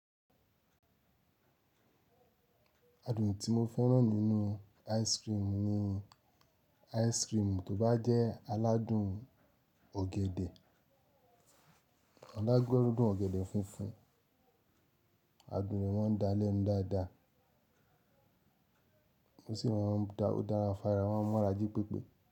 Adùn tí mo fẹ́ràn nínú ice cream ni ice cream tó bá jẹ́ aládùn ọ̀gẹ̀dẹ̀. Alágọ̀rùdun ọ̀gẹ̀dẹ̀ funfun, adùn rẹ̀ máa ń dalẹ́nu dáadáa, ó sì máa ń dára o dara fara o maa n mara jípépé.